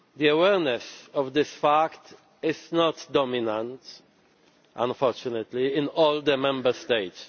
Awareness of this fact is not dominant, unfortunately, in all the Member States.